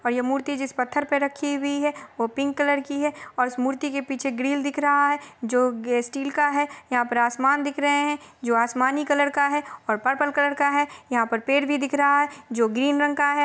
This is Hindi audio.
और ये मूर्ति जिस पत्थर पे रखी हुई है वो पिंक कलर की है और इस मूर्ति के पीछे ग्रिल दिख रहा है जो स्टील का है यहाँ पर आसमान दिख रहे है जो आसमानी कलर का है और पर्पल कलर का है यहाँ पर पेड़ भी दिख रहा है जो ग्रीन रंग का है।